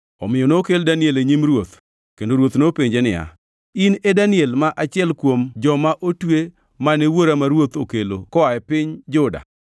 Omiyo nokel Daniel e nyim ruoth, kendo ruoth nopenje niya, In e Daniel ma achiel kuom joma otwe mane wuora ma ruoth okelo koa e piny Juda?